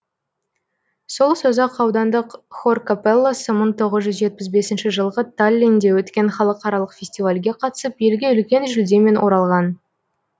сол созақ аудандық хор капелласы мыңң тоғыз жүз жетпіс бесінші жылғы таллинде өткен халықаралық фестивальге қатысып елге үлкен жүлдемен оралған